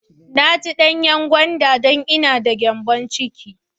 I ci danyan gwanda don ina d ma gyanbon ciki.